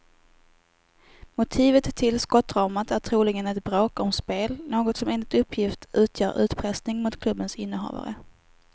Motivet till skottdramat är troligen ett bråk om spel, något som enligt uppgift utgör utpressning mot klubbens innehavare.